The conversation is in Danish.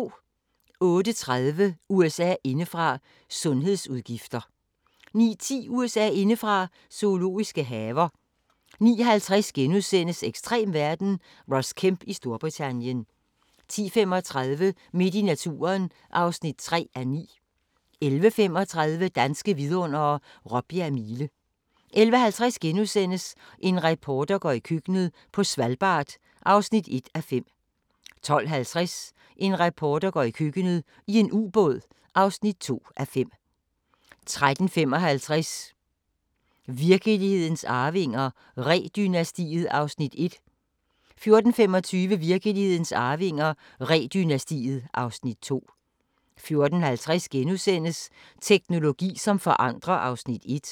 08:30: USA indefra: Sundhedsudgifter 09:10: USA indefra: Zoologiske haver 09:50: Ekstrem verden – Ross Kemp i Storbritannien * 10:35: Midt i naturen (3:9) 11:35: Danske Vidundere: Råbjerg Mile 11:50: En reporter går i køkkenet – på Svalbard (1:5)* 12:50: En reporter går i køkkenet – i en ubåd (2:5) 13:55: Virkelighedens Arvinger: Ree-dynastiet (Afs. 1) 14:25: Virkelighedens Arvinger: Ree-dynastiet (Afs. 2) 14:50: Teknologi som forandrer (Afs. 1)*